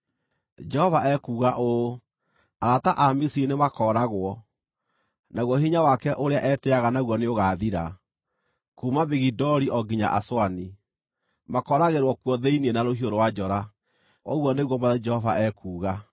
“ ‘Jehova ekuuga ũũ: “ ‘Arata a Misiri nĩmakooragwo, naguo hinya wake ũrĩa etĩĩaga naguo nĩũgaathira. Kuuma Migidoli o nginya Aswani, makooragĩrwo kuo thĩinĩ na rũhiũ rwa njora, ũguo nĩguo Mwathani Jehova ekuuga.